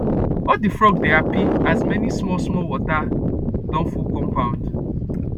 all the frog dey happy as many small small water don full compound